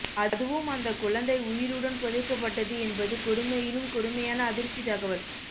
அதுவும் அந்த குழந்தை உயிருடன் புதைக்கப்பட்டது என்பது கொடுமையிலும் கொடுமையான அதிர்ச்சி தகவல்